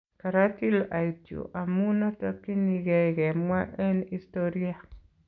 "karatil ait yuu amun atakyinikee kemwa en istoria .